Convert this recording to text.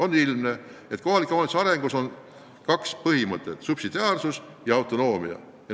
On ilmne, et kohaliku omavalitsuse arengus on kaks põhimõtet: subsidiaarsus ja autonoomia.